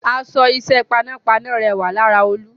Aṣọ iṣẹ́ panápaná rẹwà lára Olú